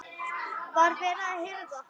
Var verið að hirða hann?